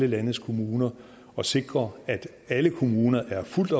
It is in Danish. landets kommuner og sikre at alle kommuner er fuldt